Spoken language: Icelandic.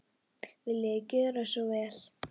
Viljiði gjöra svo vel.